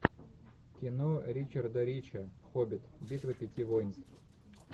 кино ричарда рича хоббит битва пяти воинств